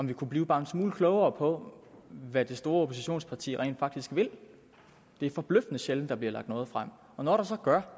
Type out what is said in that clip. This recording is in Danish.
vi kunne blive bare en smule klogere på hvad det store oppositionsparti rent faktisk vil det er forbløffende sjældent der bliver lagt noget frem og når der så gør